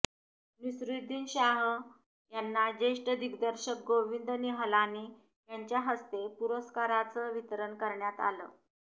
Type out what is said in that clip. नसीरुद्दीन शाह यांना ज्येष्ठ दिग्दर्शक गोंविद निहलानी यांच्या हस्ते पुरस्काराचं वितरण करण्यात आलं